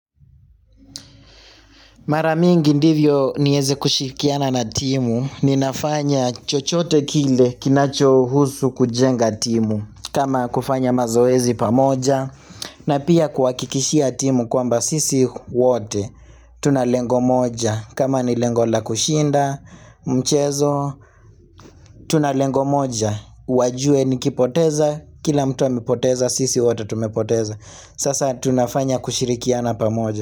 Mara mingi ndivyo nieze kushirikiana na timu, ninafanya chochote kile kinachohusu kujenga timu, kama kufanya mazoezi pamoja, na pia kwa kuhakikishia timu kwamba sisi wote, tunalengo moja, kama ni lengo la kushinda, mchezo, tunalengo moja, wajue nikipoteza, kila mtu amepoteza, sisi wote tumepoteza, sasa tunafanya kushirikiana pamoja.